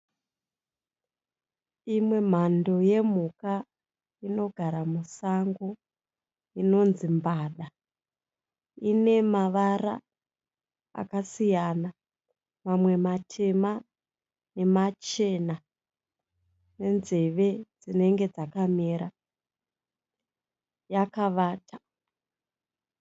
Imwe mhando yemhuka inogara musango inonzii mbada. Inemavara akasiyana, mamwe matema nemachena nenzeve dzinenge dzakamera, yakavata.